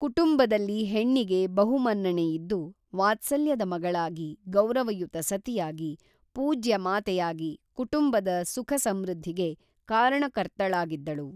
ಕುಟುಂಬದಲ್ಲಿ ಹೆಣ್ಣಿಗೆ ಬಹು ಮನ್ನಣೆಯಿದ್ದು ವಾತ್ಸಲ್ಯದ ಮಗಳಾಗಿ ಗೌರವಯುತ ಸತಿಯಾಗಿ ಪೂಜ್ಯ ಮಾತೆಯಾಗಿ ಕುಟುಂಬದ ಸುಖ ಸಂಮೃದ್ಧಿಗೆ ಕಾರಣಕರ್ತಳಾಗಿದ್ದಳು.